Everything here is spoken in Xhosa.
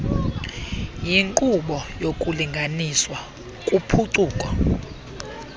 yinqobo yokulinganiswa kuphuculo